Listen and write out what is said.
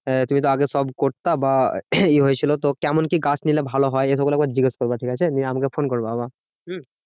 আহ তুমি আগে সব করতে বা ইয়ে হয়েছিল তো কেমন কি গাছ নিলে ভালো হয়? এসবগুলো একবার জিজ্ঞেস করবে ঠিকাছে? নিয়ে আমাকে ফোন করবা আবার হম